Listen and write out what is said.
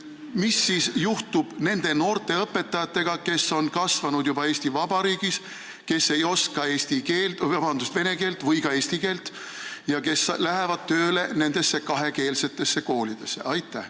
Mis siis juhtub nende noorte õpetajatega, kes on kasvanud juba Eesti Vabariigis, kes ei oska vene keelt või ka eesti keelt ja kes lähevad tööle nendesse kahekeelsetesse koolidesse?